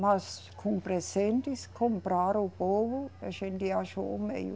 Mas com presentes, comprar o povo, a gente achou meio.